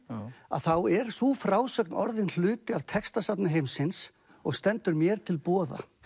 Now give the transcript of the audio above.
að þá er sú frásögn orðin hluti af textasafni heimsins og stendur mér til boða